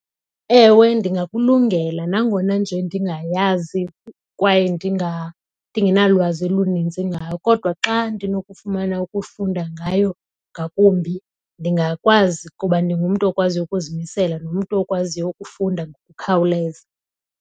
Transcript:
Ewe, ndingakulungela nangona nje ndingayazi kwaye ndingenalwazi oluninzi ngayo kodwa xa ndinokufumana ukufunda ngayo ngakumbi ndingakwazi kuba ndingumntu okwaziyo ukuzimisela, ndingumntu okwaziyo ukufunda ngokukhawuleza.